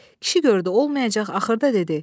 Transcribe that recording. Kişi gördü olmayacaq, axırda dedi: